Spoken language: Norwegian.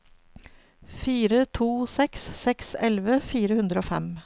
fire to seks seks elleve fire hundre og fem